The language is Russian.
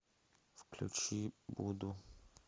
включи буду